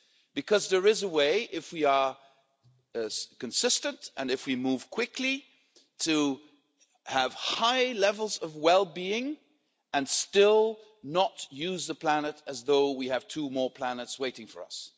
because there is a way, if we are consistent and if we move quickly, to have high levels of well being and still not use the planet as though we have two more planets waiting for us.